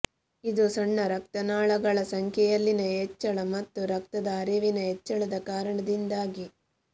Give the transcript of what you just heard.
ಇದು ಸಣ್ಣ ರಕ್ತನಾಳಗಳ ಸಂಖ್ಯೆಯಲ್ಲಿನ ಹೆಚ್ಚಳ ಮತ್ತು ರಕ್ತದ ಹರಿವಿನ ಹೆಚ್ಚಳದ ಕಾರಣದಿಂದಾಗಿ